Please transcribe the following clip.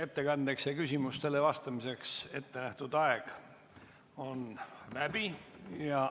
Ettekandeks ja küsimustele vastamiseks ettenähtud aeg on läbi.